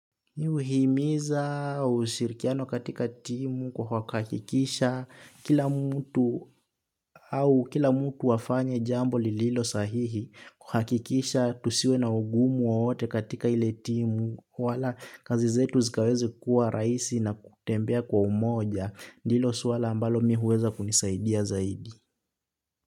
Kuhimiza ushirikiano katika timu kwa kuhakikisha kila mtu afanye jambo lililo sahihi kuhakikisha tusiwe na ugumu wowote katika ile timu wala kazi zetu zikaweze kuwa rahisi na kutembea kwa umoja ndilo suala ambalo mi huweza kunisaidia zaidi.